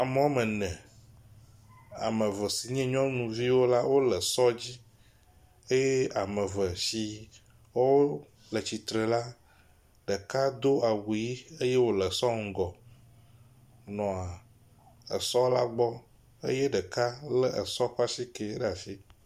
Ame woame ene, ame eve si nye nyɔnuviwo la wole sɔ la dzi eye ame si wole tsitre la, ɖeka do awu ʋɛ̃ eye wòle esɔ ŋgɔ nɔa esɔ la gbɔ eye ɖeka lé esɔa ƒe asike le asi.